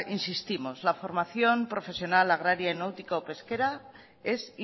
insistimos que la formación profesional agraria y náutico pesquera es